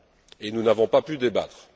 Et nous n'avons pas pu débattre.